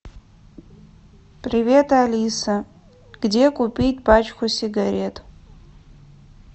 привет алиса где купить пачку сигарет